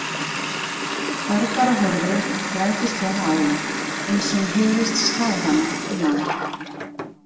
Barbara horfði græðgislega á hana, eins og hún hygðist slá hana um lán.